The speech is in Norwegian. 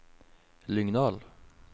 Lyngdal